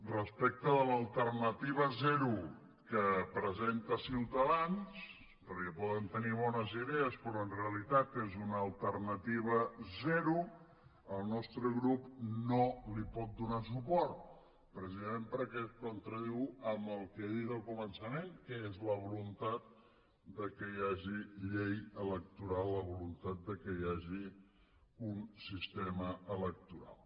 respecte de l’alternativa zero que presenta ciutadans perquè poden tenir bones idees però en realitat és una alternativa zero el nostre grup no hi pot donar suport precisament perquè es contradiu amb el que he dit al començament que és la voluntat que hi hagi llei electoral la voluntat que hi hagi un sistema electoral